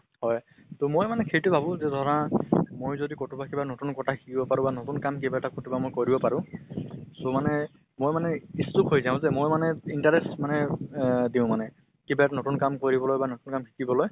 হয়। ত মই মানে সেইটো ভাবো যে ধৰা মই যদি কতোবা কিবা নতুন কথা শিকিব পাৰো বা নতুন কাম কিবা এটা কতোবা মই কৰিব পাৰো, so মানে মই মানে ইচ্ছুক হৈ যাওঁ যে মই মানে interest মানে অহ দিওঁ মানে । কিবা এটা নতুন কাম কৰিবলৈ বা নতুন কাম শিকিবলৈ।